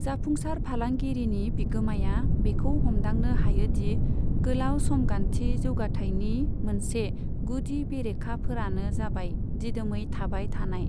जाफुंसार फालांगिरिनि बिगोमाया बेखौ हमदांनो हायोदि गोलाव समगान्थि जौगाथाइनि मोनसे गुदि बेरेखाफोरानो जाबाय दिदोमै थाबाय थानाय।